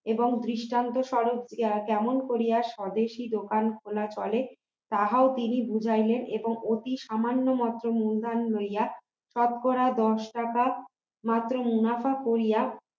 এবং দৃষ্টান্ত স্বরূপ কেমন করিয়া স্বদেশী দোকান খোলা চলে তাহাও তিনি বুঝাইলেন এবং অতি সামান্য মাত্র মূলধন লইয়া শতকরা দশ টাকা মাত্র মুনাফা করিয়া